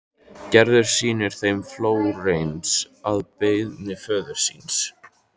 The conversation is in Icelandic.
Gerður sýnir þeim Flórens að beiðni föður síns.